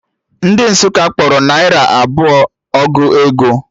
Ndị Nsukka kpọrọ naira abụọ ọgụ ego